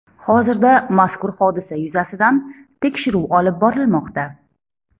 Hozirda mazkur hodisa yuzasidan tekshiruv olib borilmoqda.